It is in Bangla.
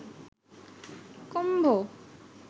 কুম্ভ